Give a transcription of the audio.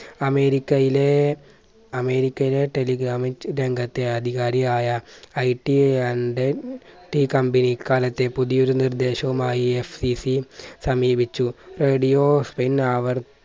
അമേരിക്കയിലേ അമേരിക്കയിലെ telegramit രംഗത്തെ ആധികാരിയായ I T and T company അക്കാലത്തെ പുതിയൊരു നിർദ്ദേശവുമായി FCC സമീപിച്ചു. radio പിന്നെ അവർ